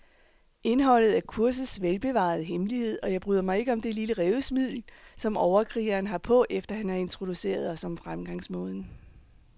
Indholdet er kursets velbevarede hemmelighed, og jeg bryder mig ikke om det lille rævesmil, som overkrigeren har på, efter han har introduceret os om fremgangsmåden.